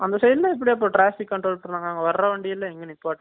அந்த side லாம் எப்டி அப்ப traffic control பண்றாங்க நாங்க வர்ற வந்டீல்லாம் எங்க நிப்பட்டுறது